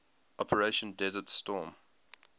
operation desert storm